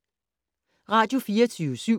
Radio24syv